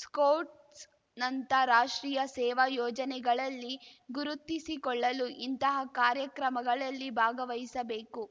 ಸ್ಕೌಟ್ಸ್‌ನಂಥ ರಾಷ್ಟ್ರೀಯ ಸೇವಾ ಯೋಜನೆಗಳಲ್ಲಿ ಗುರುತಿಸಿಕೊಳ್ಳಲು ಇಂತಹ ಕಾರ್ಯಕ್ರಮಗಳಲ್ಲಿ ಭಾಗವಹಿಸಬೇಕು